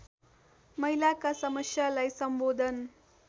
महिलाका समस्यालाई सम्बोधन